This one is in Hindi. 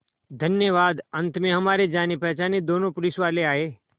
धन्यवाद अंत में हमारे जानेपहचाने दोनों पुलिसवाले आए